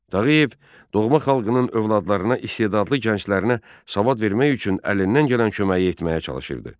Tağıyev doğma xalqının övladlarına, istedadlı gənclərinə savad vermək üçün əlindən gələn köməyi etməyə çalışırdı.